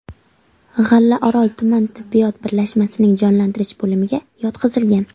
G‘allaorol tuman tibbiyot birlashmasining jonlantirish bo‘limiga yotqizilgan.